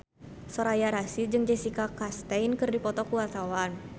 Soraya Rasyid jeung Jessica Chastain keur dipoto ku wartawan